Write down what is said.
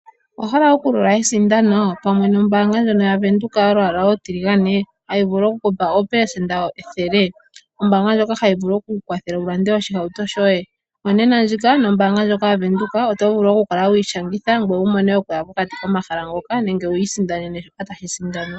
Owa hala okulola esindano pamwe nombaanga ndjono yaVenduka yolwaala olutiligane hayi vulu oku ku pa oopelesenda ethele? Ombaanga ndjoka hayi vulu oku ku kwathela wu lande oshihauto shoye? Onena ndjika nombaanga ndjika oto vulu oku kala wi ishangitha ngoye wu mone okuya pokati komahala ngoka nenge wi isindanene shoka tashi sindanwa.